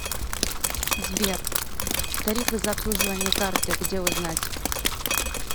сбер тарифы за обслуживание карты где узнать